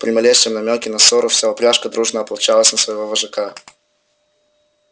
при малейшем намёке на ссору вся упряжка дружно ополчалась на своего вожака